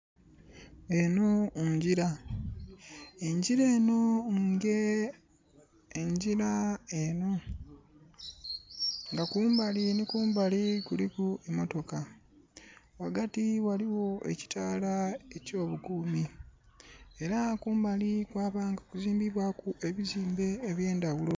Eno ngira. Engira eno .........nga kumbali ni kumbali kuliku emotoka. Wagati waliwo ekitaala eky'obukuumi era kumbali kwaba kuzimbibwaku ebizimbe ebyendawulo